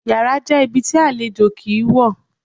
Yàrá jẹ́ ibi tí àlejò kì í wọ̀.